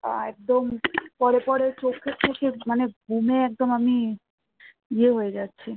একদম পরে পরে চোখে চোখে ঘুমে একদম আমি ইয়ে হয়ে যাচ্ছি